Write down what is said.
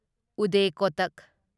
Uday Kotak